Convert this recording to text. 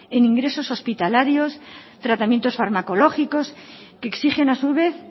en ingresos hospitalarios tratamientos farmacológicos que exigen a su vez